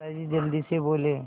दादाजी जल्दी से बोले